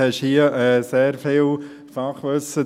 Sie haben hier natürlich sehr viel Fachwissen.